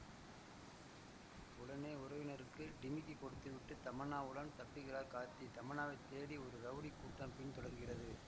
உடனே உறவினருக்கு டிமிக்கி கொடுத்துவிட்டு தமன்னாவுடன் தப்பிக்கிறார் கார்த்தி தமன்னாவை தேடி ஒரு ரவுடி கூட்டம் பின் தொடர்கிறது